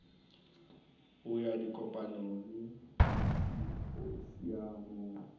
ho ya dikopanong le disimphosiamong